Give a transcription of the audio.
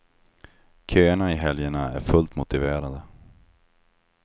Köerna i helgerna är fullt motiverade.